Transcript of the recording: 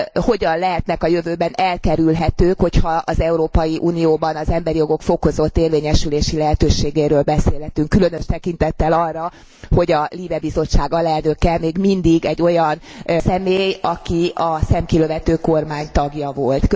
hogyan lehetnek a jövőben elkerülhetők, hogyha az Európai Unióban az emberi jogok fokozott érvényesülési lehetőségéről beszélhetünk, különös tekintettel arra, hogy a LIBE bizottság alelnöke még mindig egy olyan személy, aki a szemkilövető kormány tagja volt?